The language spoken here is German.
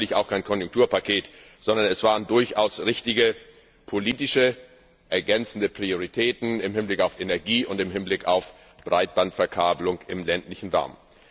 Es war natürlich auch kein Konjunkturpaket, sondern es waren durchaus richtige, politische ergänzende Prioritäten im Hinblick auf Energie und im Hinblick auf Breitbandverkabelung im ländlichen Raum.